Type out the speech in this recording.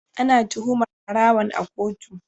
Ana tuhumar barawon a kotu.